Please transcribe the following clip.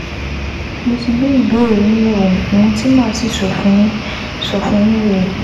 Mo ti gbé ìbéèrè yín yẹ̀wò, ohun tí màá sì sọ fún yín sọ fún yín rèé